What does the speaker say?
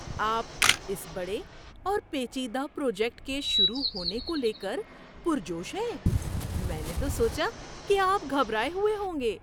آپ اس بڑے اور پیچیدہ پروجیکٹ کے شروع ہونے کو لے کر پرجوش ہیں؟ میں نے تو سوچا کہ آپ گھبرائے ہوئے ہوں گے۔